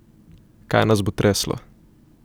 Kaj nas bo treslo?